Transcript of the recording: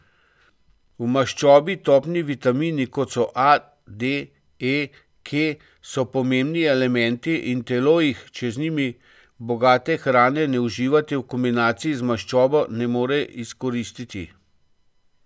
V maščobi topni vitamini, kot so A, D, E, K, so pomembni elementi in telo jih, če z njimi bogate hrane ne uživate v kombinaciji z maščobo, ne more izkoristiti.